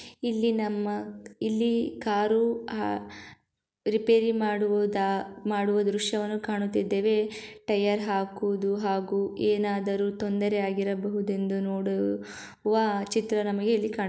ಇಲ್ಲಿ ನಮ್ಮ ಇಲ್ಲಿ ಕಾರು ಆ ರಿಪೆರಿ ಮಾಡುವುದ ಮಾಡುವ ದೃಶ್ಯವನ್ನು ಕಾಣುತ್ತಿದ್ದೇವೆ. ಟೈಯರ್ ಹಾಕುವುದು ಹಾಗೂ ಏನಾದರು ತೊಂದರೆ ಆಗಿರಬಹುದೆಂದು ನೋಡು ವ ಚಿತ್ರ ನಮಗೆ ಇಲ್ಲಿ ಕಾಣಿ --